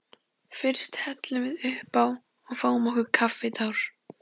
Fyrst hellum við uppá og fáum okkur kaffitár.